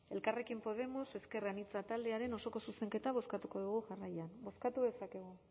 elkarrekin podemos ezker anitza taldearen osoko zuzenketa bozkatuko dugu jarraian bozkatu dezakegu